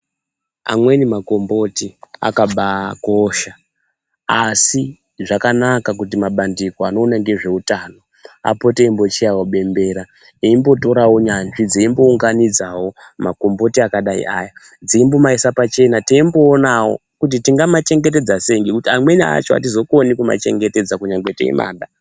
Amweni makomboti akabaa kosha asi zvakanaka kuti mabandiko anoona ngezveutano apote eimbochaye bembera eimbotorawo nyanzvi dzeimbounganidzawo makomboti akadai ngaaya dzeimbomaida pachena teimboonawo kuti tingamachengetedza sei ngekuti amweni acho atizokoni kumachengetedza nyangwe teimada.